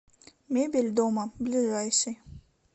мебель дома ближайший